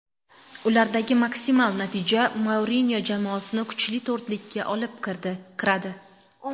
Ulardagi maksimal natija Mourinyo jamoasini kuchli to‘rtlikka olib kiradi.